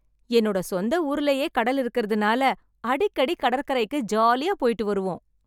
என்னோட சொந்த ஊரிலேயே கடல் இருக்கிறதுனால, அடிக்கடி கடற்கரைக்கு ஜாலியா போயிட்டு வருவோம்.